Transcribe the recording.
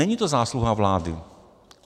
Není to zásluha vlády.